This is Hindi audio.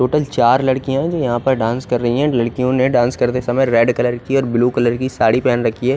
टोटल चार लडकिया है यहाँ पर डांस कर रही है लडकियों ने डांस करते समय रेड कलर की ब्लू कलर साड़ी पहनी हुई है।